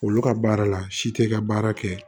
Olu ka baara la si te ka baara kɛ